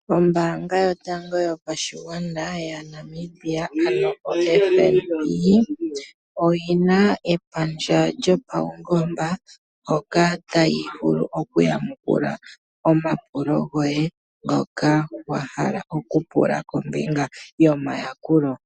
Ombaanga yotango yopashigwana yaNamibia ndyono yedhina FNB, oyina epandja lyopaungomba, hoka tayi vulu okuyamukula omapulo goye ngoka wahala okupula kombinga yomayakulo.